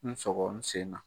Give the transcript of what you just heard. N sɔgɔ n sen na